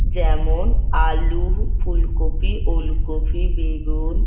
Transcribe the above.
যেমন আলু ফুলকপি ওলকপি বেগুন --